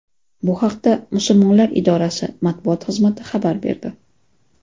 Bu haqda Musulmonlar idorasi matbuot xizmati xabar berdi .